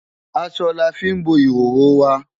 Aṣọ la fí ń bo ìhòhò wa.